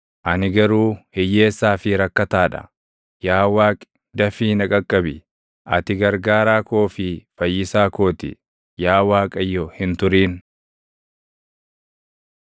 Ani garuu hiyyeessaa fi rakkataa dha; yaa Waaqi, dafii na qaqqabi. Ati gargaaraa koo fi fayyisaa koo ti; yaa Waaqayyo hin turin.